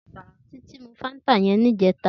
Titi mú fàntá yèn nijètá